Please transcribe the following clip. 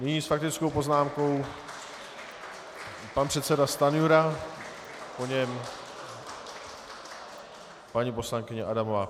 Nyní s faktickou poznámkou pan předseda Stanjura, po něm paní poslankyně Adamová.